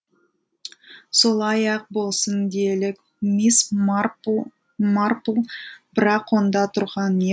солай ақ болсын делік мисс марпл марпл бірақ онда тұрған не